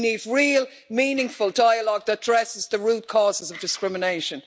We need real, meaningful dialogue that addresses the root causes of discrimination.